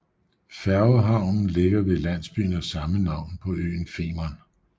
Færgehavnen ligger ved landsbyen af samme navn på øen Femern